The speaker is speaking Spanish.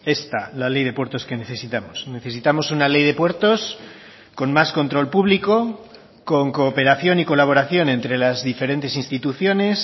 esta la ley de puertos que necesitamos necesitamos una ley de puertos con más control público con cooperación y colaboración entre las diferentes instituciones